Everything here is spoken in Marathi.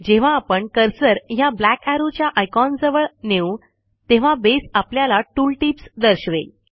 जेव्हा आपण कर्सर ह्या ब्लॅक arrowच्या आयकॉनजवळ नेऊ तेव्हा बसे आपल्याला टूल टिप्स दर्शवेल